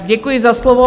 Děkuji za slovo.